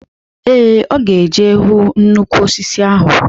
Ee, ọ ga eje hu nnukwu osisi ahụ.